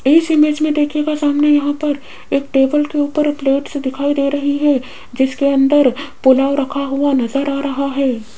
इस इमेज में देखिएगा सामने यहां पर एक टेबल के ऊपर प्लेट्स दिखाई दे रहे हैं जिसके अंदर पुलाव रखा हुआ नजर आ रहा है।